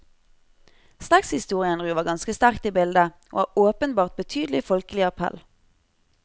Slektshistorien ruver ganske sterkt i bildet, og har åpenbart betydelig folkelig appell.